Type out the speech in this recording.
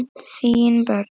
Þín börn.